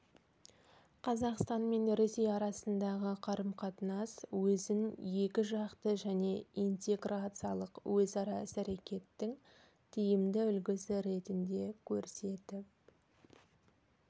қазақстан мен ресей арасындағы қарым-қатынас өзін екіжақты және интеграциялық өзара іс-әрекеттің тиімді үлгісі ретінде көрсетіп